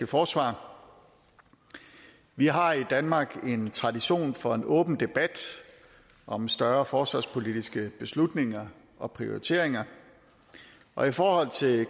forsvar vi har i danmark en tradition for en åben debat om større forsvarspolitiske beslutninger og prioriteringer og i forhold til